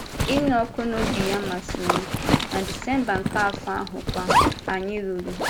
Ịnụ ọkụ n’obi ya masịrị m, na Disemba nke afọ ahụ kwa, anyị lụrụ.